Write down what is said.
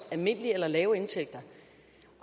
almindelige eller lave indtægter